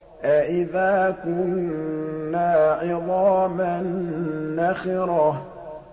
أَإِذَا كُنَّا عِظَامًا نَّخِرَةً